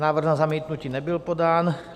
Návrh na zamítnutí nebyl podán.